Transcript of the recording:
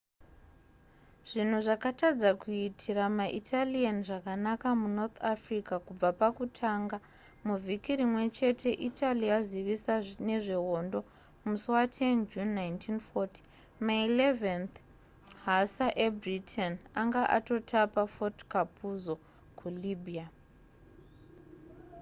zvinhu zvakatadza kuitira maitalian zvakanaka munorth africa kubva pakutanga muvhiki rimwechete italy yazivisa nezvehondo musi wa 10 june 1940 ma 11th hussar ebritain anga atotapa fort capuzzo kulibya